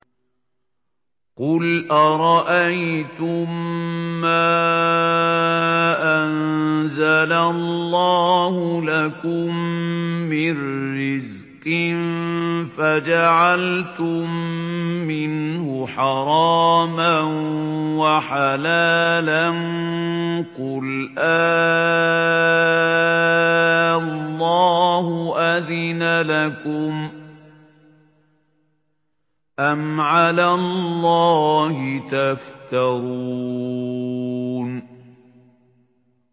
قُلْ أَرَأَيْتُم مَّا أَنزَلَ اللَّهُ لَكُم مِّن رِّزْقٍ فَجَعَلْتُم مِّنْهُ حَرَامًا وَحَلَالًا قُلْ آللَّهُ أَذِنَ لَكُمْ ۖ أَمْ عَلَى اللَّهِ تَفْتَرُونَ